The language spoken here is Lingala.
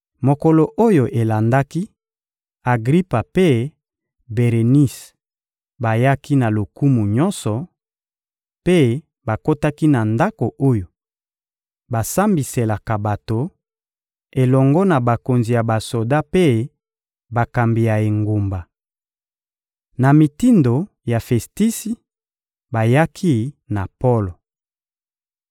Mokolo oyo elandaki, Agripa mpe Berenise bayaki na lokumu nyonso, mpe bakotaki na ndako oyo basambiselaka bato, elongo na bakonzi ya basoda mpe bakambi ya engumba. Na mitindo ya Festisi, bayaki na Polo.